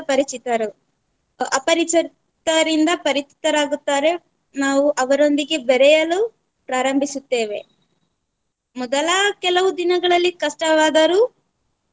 ಪರಿಚಿತರು ಅಪರಿಚಿತರಿಂದ ಪರಿಚಿತರಾಗುತ್ತಾರೆ ನಾವು ಅವರೊಂದಿಗೆ ಬೇರೆಯಲು ಪ್ರಾರಂಭಿಸುತ್ತೇವೆ. ಮೊದಲಾ ಕೆಲವು ದಿನಗಳಲ್ಲಿ ಕಷ್ಟವಾದರೂ